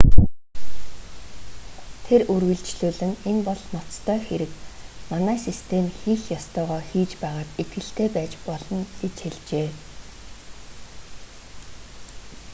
тэр үргэлжлүүлэн энэ бол ноцтой хэрэг манай систем хийх ёстойгоо хийж байгаад итгэлтэй байж болно гэж хэлжээ